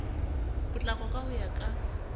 potlako ka ho ya ka